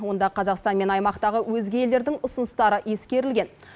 онда қазақстан мен аймақтағы өзге елдердің ұсыныстары ескерілген